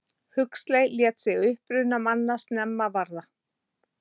Huxley lét sig uppruna manna snemma varða.